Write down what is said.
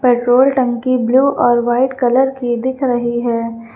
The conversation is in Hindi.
पेट्रोल टंकी ब्लू और व्हाइट कलर की दिख रही है।